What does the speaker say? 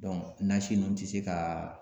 nasi ninnu tɛ se k'a